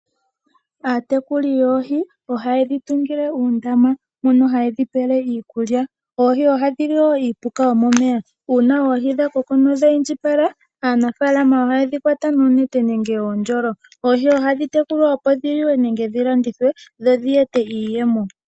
Aatekuli yoohi oha yedhi tungile uundama mono ha yedhi pele iikulya. Oohi odhadhi li woo iipuka yomomeya. Uuna oohi dha koko nodha Indjipala, aanafaalama oha yedhi kwata noonete nenge oondjolo. Oohi ohadhi tekulwa opo dhi liwe nenge dhi landithwe, dho dhi ete iiyemo.